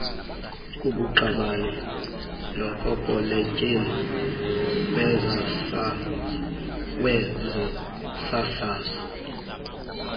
kubuqabane nokopoletyeni wezosasazo